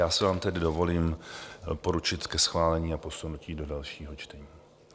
Já si vám tedy dovolím doporučit ke schválení a posunutí do dalšího čtení.